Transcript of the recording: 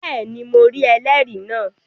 Bẹ́ẹ̀ni, mo rí ẹlẹ́rìí náà